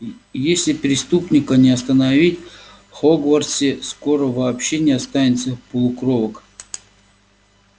если преступника не остановить в хогвартсе скоро вообще не останется полукровок